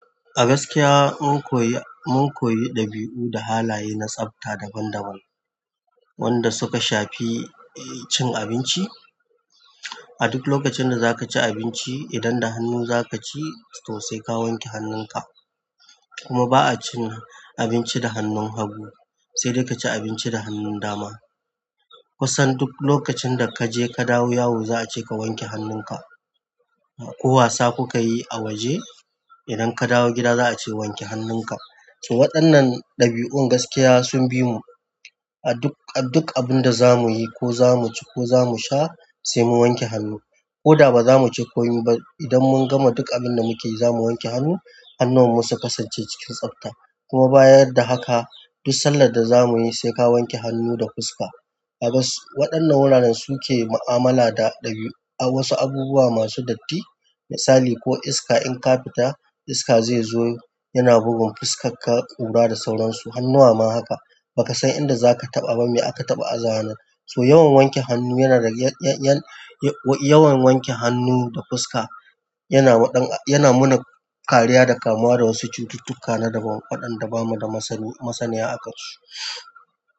A gaskiya mun koyi, mun koyi ɗabi'u da halaye na tsafta daban-daban wanda suka shafi cin abinci. A duk lokacin da zaka ci abinci, idan da hannu za kaci to sai ka wanke hannun ka. Kuma ba'a cin abinci da hannun hagu, sai dai kaci abinci da hannun dama. Kusan duk lokacin da kaje ka dawo yawon za'a ce ka wanke hannun ka, ko wasa kukayi a waje, idan ka dawo gida za'a ce wanke hannun ka. To waɗannan ɗabi'un gaskiya sun bimu a duk, a duk abunda za muyi ko za muci ko za mu sha sai mun wanke hannu. Koda baza muci komi ba idan mun gama duk abinda muke yi zamu wanke hannu. Hannuwan mu su kasance cikin tsabta. Kuma bayan da haka duk sallar da za muyi saika wanke hannu da fuska. A bas, waɗannan wuraren suke mu'amala da ɗabi'u, wasu abubuwa masu datti. Misali ko iska in ka fita, iska zezo yana bugun fuskan ka, ƙura da sauran su. Hannuwa ma haka, baka san inda zaka taɓa ba me aka taɓa aza hannun. So yawan wanke hannu yana da, yan, yan, yan, yawan wanke hannu da fuska yana waɗan, yana muna kariya da kamuwa da wasu cututtuka na daban waɗanda bamu da masani, masaniya akan su.